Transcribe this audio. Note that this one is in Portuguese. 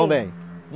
Também.